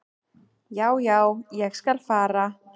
"""Já, já, ég skal fara."""